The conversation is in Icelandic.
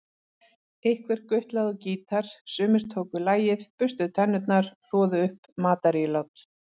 Einhver gutlaði á gítar, sumir tóku lagið, burstuðu tennur, þvoðu upp matarílát.